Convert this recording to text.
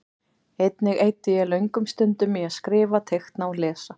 Einnig eyddi ég löngum stundum í að skrifa, teikna og lesa.